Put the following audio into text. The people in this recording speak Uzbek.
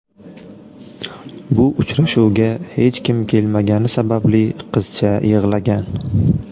Bu uchrashuvga hech kim kelmagani sababli qizcha yig‘lagan.